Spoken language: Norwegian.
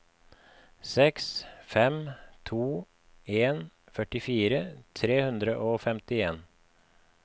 seks fem to en førtifire tre hundre og femtien